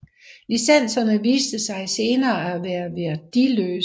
Licenserne viste sig senere at være værdiløse